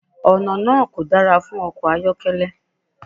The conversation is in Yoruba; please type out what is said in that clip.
Ọ̀nà náà kò dára fún ọkọ̀ ayọ́kẹ́lẹ́.